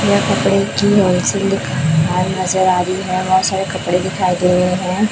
यह कपड़े की होल सेल दिखा नजर आ रही है बहोत सारे कपडे दिखाई दे रहे है।